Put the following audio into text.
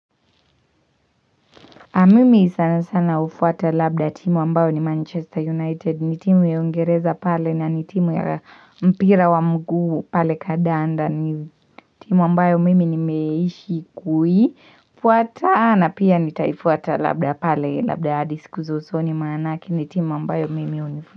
Mimi sana sana hufuata labda timu ambayo ni Manchester United, ni timu ya uIngereza pale na ni timu ya mpira wa mguu pale kadanda ni timu ambayo mimi nimeishi kuifuata na pia nitaifuata labda pale labda hadi siku za usoni manake ni timu ambayo mimi.